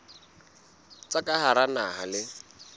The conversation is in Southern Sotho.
tsa ka hara naha le